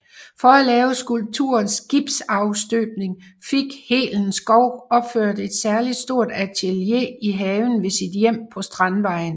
For at lave skulpturens gipsafstøbning fik Helen Schou opført et særlig stort atelier i haven ved sit hjem på Strandvejen